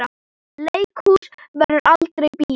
Leikhús verður aldrei bíó.